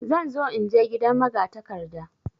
Zan zo inje gidan magatakarda.